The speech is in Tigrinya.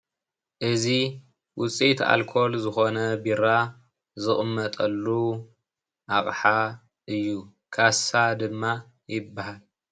እዚ ውፅኢት ኣልኮል ዝኾነ ቢራ ዝቕመጠሉ ኣቕሓ እዩ፡፡ ካሳ ድማ ይባሃል፡፡